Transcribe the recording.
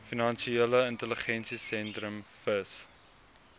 finansiële intelligensiesentrum fis